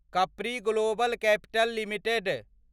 कपड़ी global capital limited